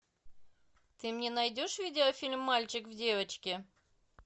ты мне найдешь видеофильм мальчик в девочке